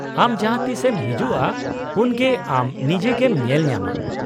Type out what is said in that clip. -ᱟᱢ ᱡᱟᱦᱟᱸᱛᱤᱥ ᱮᱢ ᱦᱤᱡᱩᱜᱼᱟ, ᱩᱱᱜᱮ ᱟᱢ ᱱᱤᱡᱮᱜᱮᱢ ᱧᱮᱞ ᱧᱟᱢᱟ ᱾